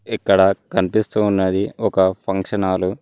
ఇక్కడ కనిపిస్తూ ఉన్నది ఒక ఫంక్షన్ హాల్ .